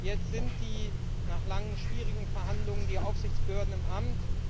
Jetzt sind nach langen, schwierigen Verhandlungen die Aufsichtsbehörden im Amt.